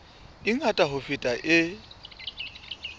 e ngata ho feta e